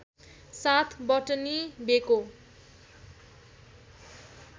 साथ बटनी बेको